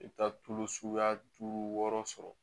I bɛ taa tulu suguya duuru sɔrɔ